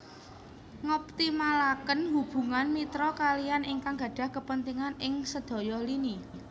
Ngoptimalaken hubungan mitra kaliyan ingkang gadhah kapentingan ing sedaya lini